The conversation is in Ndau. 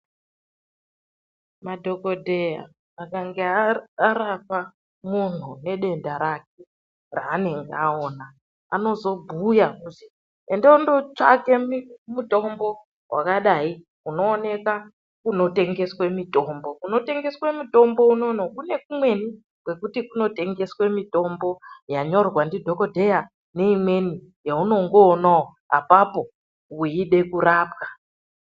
Madhokodheya akange arapa muntu ngedenda rake ranenge aona, anozobhuya kuzi enda undotsvake mutombo wakadai unoonekwa kunotengeswa mitombo. Kunotengeswa mitombo unono kune kumweni kwekuti kunotengeswe mutombo yaunyorwa ndidhokodheya neimweni yaunongoonawo apapo weida kurapwa.